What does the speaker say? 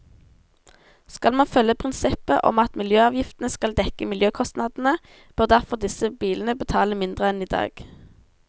Skal man følge prinsippet om at miljøavgiftene skal dekke miljøkostnadene, bør derfor disse bilene betale mindre enn i dag.